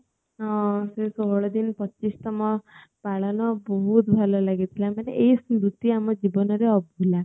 ହଁ ସେ ଷୋଳଦିନ ପଚିଶ ତମ ପାଳନ ବହୁତ ଭଲ ଲାଗିଥିଲା ମନେ ଏଇ ସ୍ମୃତି ଆମ ଜୀବନରେ ଅଭୁଲା